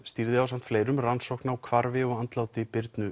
stýrði ásamt fleirum rannsókn á hvarfi og andláti Birnu